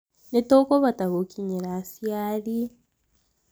nĩtũkũhota gukinyĩra aciari